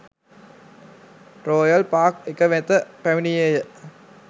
Royal Park එක වෙත පැමිණියේය.